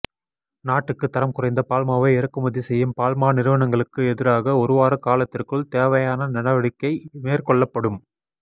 நாட்டுக்கு தரம் குறைந்த பால்மாவை இறக்குமதி செய்யும் பால் மா நிறுவனங்களுக்கு எதிராக ஒருவார காலத்திற்குள் தேவையான நடவடிக்கை மேற்கொள்ளப்படும்